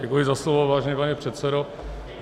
Děkuji za slovo, vážený pane předsedo.